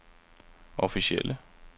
officielle